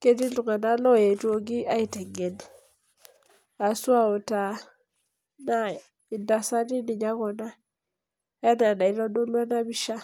ketii iltunganak loetuoki aitengen ashu autaa naa intasati ninye kuna enaa enaitodolu enapisha.